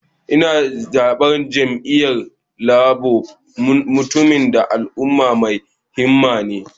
Ina zaben jam'iyyar Labour, mutumin da alama mai himma ne.